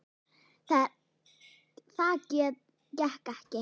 Það gekk ekki